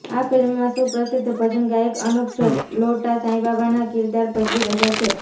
આ ફિલ્મમાં સુપ્રસિદ્ધ ભજન ગાયક અનુપ જલોટા સાંઈબાબાના કીરદાર ભજવી રહ્યા છે